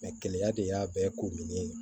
de y'a bɛɛ komini